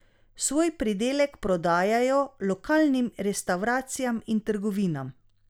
Svoj pridelek prodajajo lokalnim restavracijam in trgovinam.